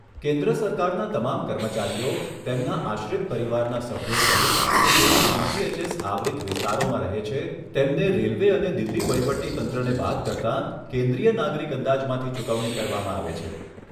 કેન્દ્ર સરકારના તમામ કર્મચારીઓ, તેમના આશ્રિત પરિવારના સભ્યો સહિત કે જેઓ સીજીએચએસ આવરિત વિસ્તારોમાં રહે છે, તેમને રેલવે અને દિલ્હી વહીવટીતંત્રને બાદ કરતાં, કેન્દ્રીય નાગરિક અંદાજમાંથી ચૂકવણી કરવામાં આવે છે.